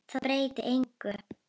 Það breytti engu.